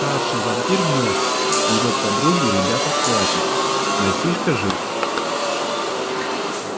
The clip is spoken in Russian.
старший вампир мёртв его подругу ребята схватят мальчишка жив